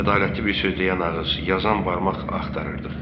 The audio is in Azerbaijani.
Ədalətli bir söz deyən ağız, yazan barmaq axtarırdıq.